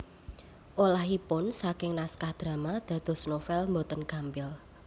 Olahipun saking naskah drama dados novèl boten gampil